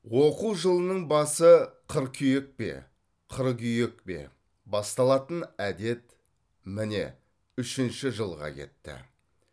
оқу жылының басы қыркүйек пе қыргүйек пе басталатын әдет міне үшінші жылға кетті